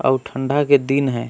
अऊ ठंडा के दिन हैं।